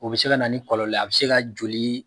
O be se ka na ni kɔlɔlɔ ye a be se ka joli